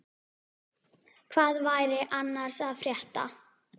Hvað væri annars að frétta?